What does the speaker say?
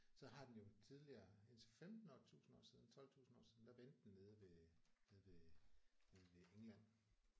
Så har den jo tidligere indtil 15 år 1000 år siden 12000 år siden der vendte den nede ved nede ved nede ved England